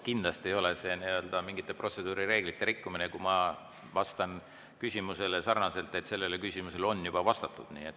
Kindlasti ei ole see mingite protseduurireeglite rikkumine, kui ma vastan küsimusele sarnaselt, et sellele küsimusele on vastatud.